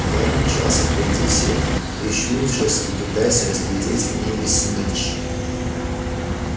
гарри мчался впереди всех прищурившись и пытаясь разглядеть в небе снитч